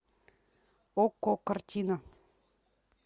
окко картина